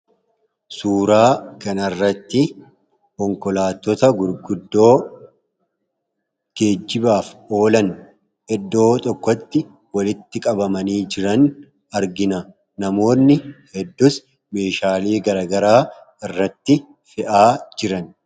Suuraa kana irratti konkolaattota gurguddoo geejibaaf oolan iddoo tokkotti walitti qabamanii jiran argina. Namoonni hedduus meeshaalee garaagaraa irratti fe'aa jiran.